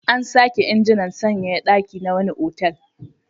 An sake injinan sanyaya ɗaki na wani otal.